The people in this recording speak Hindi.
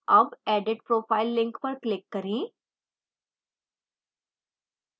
अब edit profile link पर click करें